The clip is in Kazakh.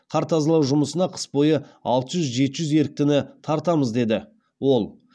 қар тазалау жұмысына қыс бойы алты жүз жеті жүз еріктіні тартамыз деді ол